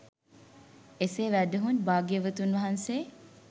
එසේ වැඩහුන් භාග්‍යවතුන් වහන්සේ